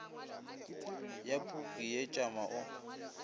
ya puku ye tšama o